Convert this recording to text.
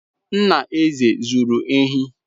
Nna Eze zuru ehi.